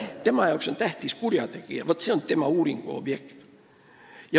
Tema jaoks on tähtis kurjategija, see on tema uuringuobjekt.